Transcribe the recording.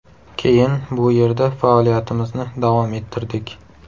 Keyin bu yerda faoliyatimizni davom ettirdik.